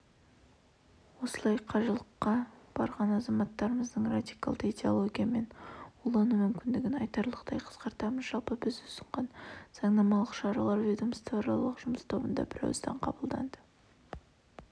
осылайша қажылыққа барған азаматтарымыздың радикалды идеологиямен улану мүмкіндігін айтарлықтай қысқартамыз жалпы біз ұсынған заңнамалық шаралар ведомствоаралық жұмыс тобында бірауыздан қабылданды